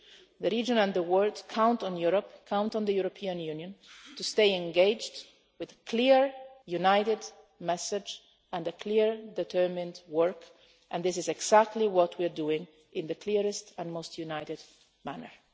The region and the world count on Europe count on the European Union to stay engaged with a clear, united message and clear, determined work and this is exactly what we are doing in the clearest and most united manner.